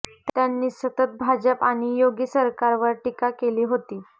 त्यांनी सतत भाजप आणि योगी सरकारवर टीका केली होती